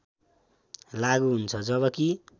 लागु हुन्छ जबकि